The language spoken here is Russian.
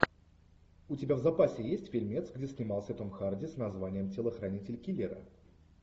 у тебя в запасе есть фильмец где снимался том харди с названием телохранитель киллера